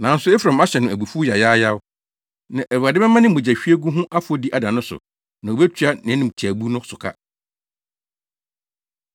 Nanso Efraim ahyɛ no abufuw yayaayaw; nʼAwurade bɛma ne mogyahwiegu ho afɔdi ada no so na obetua nʼanimtiaabu no so ka.